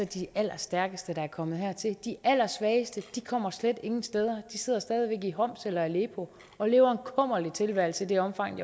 de allerstærkeste der er kommet hertil de allersvageste kommer slet ingen steder de sidder stadig væk i homs eller i aleppo og lever kummerlig tilværelse i det omfang